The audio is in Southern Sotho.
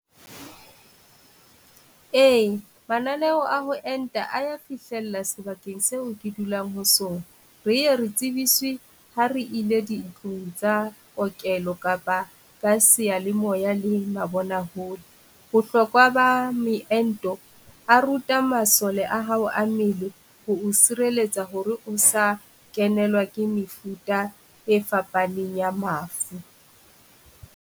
Ee mananeo a ho enta a ya fihlella sebakeng seo ke dulang ho sona re ye re tsebiswe ha re ile ditlong tsa okelo kapa ka seyalemoya le mabona hole. Bohlokwa ba meento a ruta masole a hao a mmele ho o sireletsa hore o sa kenelwa ke mefuta e fapaneng ya mafu.